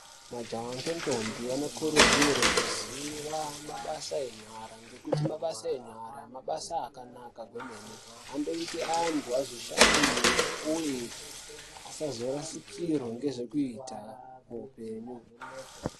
Majaha ngentombi ane kodzero yekuziva mabasa enyara ngekuti mabasa enyara mabasa akanaka kuti andoite antu azvishandire uye asazorasikirwe ngezvekuita.